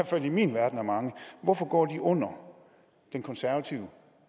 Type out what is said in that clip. fald i min verden er mange og hvorfor går de under de konservatives